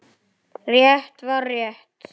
Rétt var rétt.